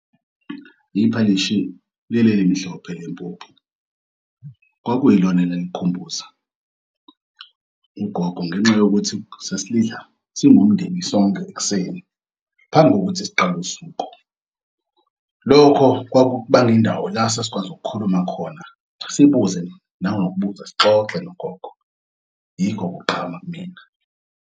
Iphalishi lel'elimhlophe lempuphu kwakuyilona lelo elalikukhumbuza ugogo ngenxa yokuthi sasilidla singumndeni sonke ekuseni phambi kokuthi siqal'usuku. Lokho kwakubangw'indawo lasasikwazi ukukhuluma khona. Sikubuze nangokubuza sixoxe nogogo yikho kugqama kumina.